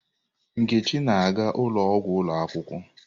Nkechi na-aga ụlọ ọgwụ ụlọ akwụkwọ.